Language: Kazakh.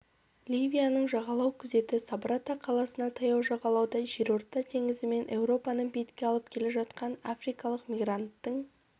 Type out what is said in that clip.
ливияның жағалау күзеті сабрата қаласына таяу жағалауда жерорта теңізімен еуропаны бетке алып келе жатқан африкалық мигранттың